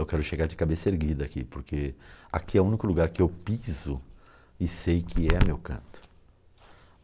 Eu quero chegar de cabeça erguida aqui, porque aqui é o único lugar que eu piso e sei que é meu canto.